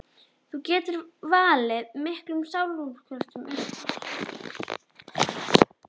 Það getur valdið miklum sálarkvölum og undið upp á sig.